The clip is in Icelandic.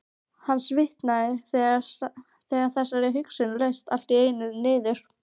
Hann svitnaði þegar þessari hugsun laust allt í einu niður.